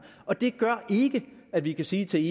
og det gør ikke at vi kan sige til